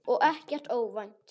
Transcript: Og ekkert óvænt.